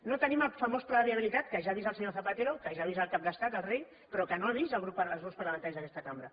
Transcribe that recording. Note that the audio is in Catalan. no tenim el famós pla de viabilitat que ja ha vist el senyor zapatero que ja ha vist el cap d’estat el rei però que no han vist els grups parlamentaris d’aquesta cambra